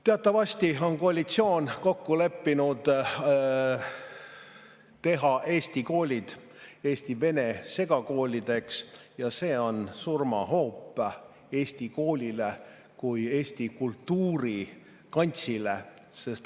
Teatavasti on koalitsioon kokku leppinud teha Eesti koolid eesti-vene segakoolideks ja see on surmahoop Eesti koolile kui eesti kultuuri kantsile.